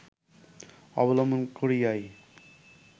অবলম্বন করিয়াই